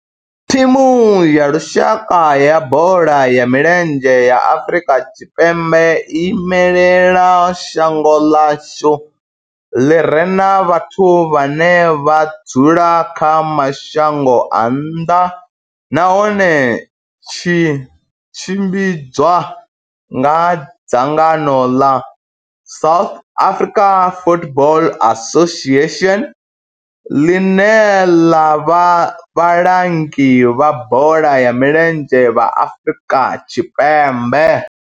Thimu ya lushaka ya bola ya milenzhe ya Afrika Tshipembe i imela shango ḽa hashu ḽi re na vhathu vhane vha dzula kha mashango a nnḓa nahone tshi tshimbidzwa nga dzangano ḽa South African Football Association, ḽine ḽa vha vhalangi vha bola ya milenzhe Afrika Tshipembe.